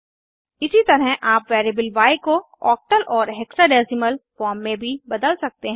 इसी तरह आप वेरिएबल य को ओक्टल और हेक्साडेसिमल फॉर्म में भी बदल सकते हैं